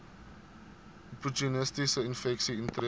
opportunistiese infeksies intree